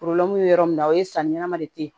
yɔrɔ min na o ye sanni ɲɛnama de ye